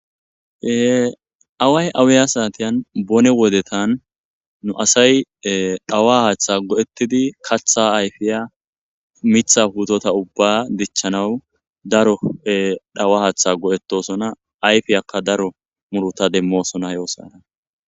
Away awiya satiyan bone wodetan nu asay dhawa hata go'etid katha ayfiya Mitha puteta ubba dichanaw daro dhawa Hatha go'etosona ayfiyaka daro muruta demosona he othiyara.